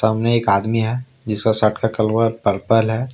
सामने एक आदमी है जिसका शर्ट का कलर पर्पल है।